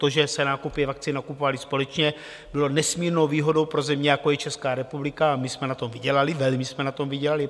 To, že se nákupy vakcín nakupovaly společně, bylo nesmírnou výhodou pro země, jako je Česká republika, a my jsme na tom vydělali, velmi jsme na tom vydělali.